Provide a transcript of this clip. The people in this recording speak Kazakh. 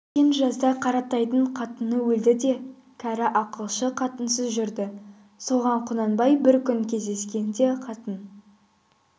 өткен жазда қаратайдың қатыны өлді де кәрі ақылшы қатынсыз жүрді соған құнанбай бір күн кездескенде қатын